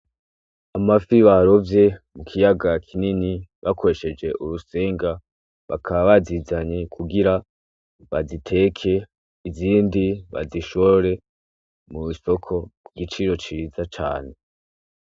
Amafi barovye mu kiyaga kinini bakoresheje urusenga, bakaba bazizanye kugira, baziteke; izindi bazishore mu soko, kugiciro ciza cane.